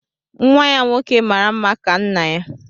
Nwa ya nwoke mara mma ka nna ya